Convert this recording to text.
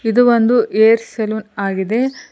ಇದು ಒಂದು hair salon ಆಗಿದೆ.